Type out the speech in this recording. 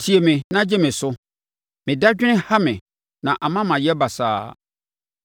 tie me na gye me so. Me dadwene ha me na ama mayɛ basaa,